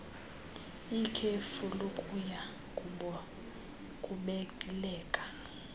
ikhefu lokuya kubeleka